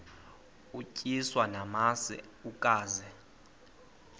utyiswa namasi ukaze